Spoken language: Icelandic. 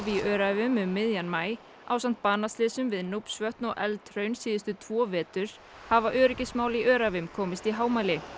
í Öræfum um miðjan maí ásamt banaslysum við og Eldhraun síðustu tvo vetur hafa öryggismál í Öræfum komist í hámæli